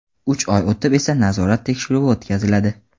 Uch oy o‘tib esa nazorat tekshiruvi o‘tkaziladi.